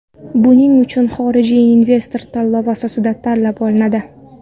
Buning uchun xorijiy investor tanlov asosida tanlab olinadi.